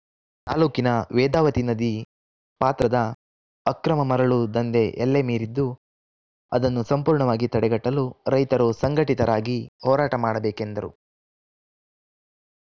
ತಾಲೂಕಿನ ವೇದಾವತಿ ನದಿ ಪಾತ್ರದ ಅಕ್ರಮ ಮರಳು ದಂಧೆ ಎಲ್ಲೆ ಮೀರಿದ್ದು ಅದನ್ನು ಸಂಪೂರ್ಣವಾಗಿ ತಡೆಗಟ್ಟಲು ರೈತರು ಸಂಘಟಿತರಾಗಿ ಹೋರಾಟ ಮಾಡಬೇಕೆಂದರು